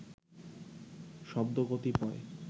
শব্দ কতিপয়